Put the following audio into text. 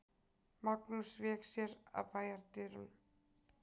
Magnús vék sér að bæjardyrunum.